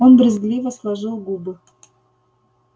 он брезгливо сложил губы